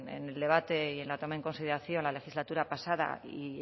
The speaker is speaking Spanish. en el debate y en la toma en consideración la legislatura pasada y